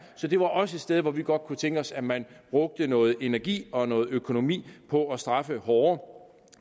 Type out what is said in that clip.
så det var også et sted hvor vi godt kunne tænke os at man brugte noget energi og noget økonomi på at straffe hårdere